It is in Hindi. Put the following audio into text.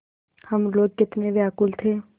हम लोग कितने व्याकुल थे